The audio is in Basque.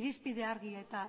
irizpide argi eta